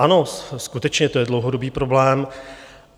Ano, skutečně to je dlouhodobý problém.